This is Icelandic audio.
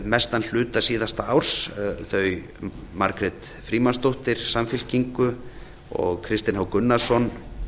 mestan hluta síðasta árs þau margrét frímannsdóttir samfylkingu og kristinn h gunnarsson